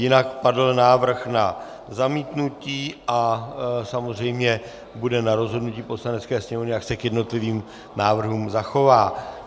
Jinak padl návrh na zamítnutí a samozřejmě bude na rozhodnutí Poslanecké sněmovny, jak se k jednotlivým návrhům zachová.